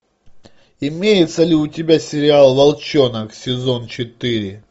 имеется ли у тебя сериал волчонок сезон четыре